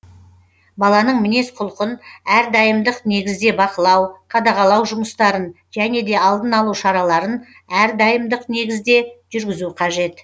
баланың мінез құлқын әрдайымдық негізде бақылау қадағалау жұмыстарын және де алдын алу шараларын әрдайымдық негізде жүргізу қажет